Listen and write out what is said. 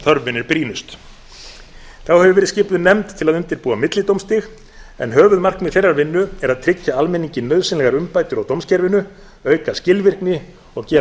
þörfin er brýnust þá hefur verið skipuð nefnd til að undirbúa millidómstig en höfuðmarkmið þeirrar vinnu er að tryggja almenningi nauðsynlegar umbætur á dómskerfinu auka skilvirkni og gera